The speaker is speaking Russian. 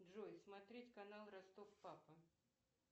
джой смотреть канал ростов папа